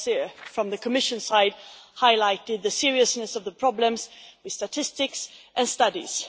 We on the Commission side have highlighted the seriousness of the problems with statistics and studies.